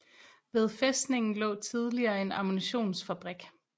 Ved fæstningen lå tidligere en ammunitionsfabrik